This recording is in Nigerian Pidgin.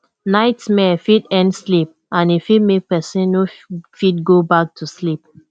nightmare fit end sleep and e fit make person no fit go back to sleep